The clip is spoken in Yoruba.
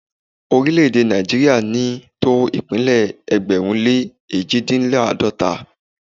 Orílẹ̀-èdè Nàìjíríà ò ní tó ìpínlẹ̀ ẹgbẹ̀rún lé èjìdínláàdọ́ta